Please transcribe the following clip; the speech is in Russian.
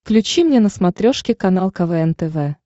включи мне на смотрешке канал квн тв